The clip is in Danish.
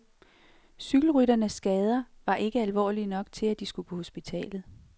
Cykelrytternes skader var ikke alvorlige nok til, at de skulle på hospitalet.